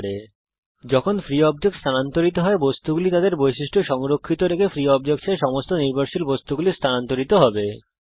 যখন free object স্থানান্তরিত হয বস্তুগুলি তাদের বৈশিষ্ট্য সংরক্ষিত রেখে ফ্রী অবজেক্টস এরমুক্ত বস্তুসমস্ত নির্ভরশীল বস্তুগুলি স্থানান্তরিত হবে